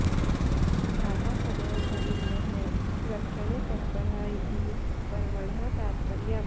भ्राता सदैव भगिन्यः रक्षणे तत्तपरः इति पर्वणः तात्पर्यम्